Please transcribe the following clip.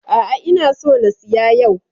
A'a, ina so na siya yau.